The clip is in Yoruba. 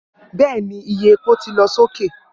bẹẹni, iye epo ti lọ soke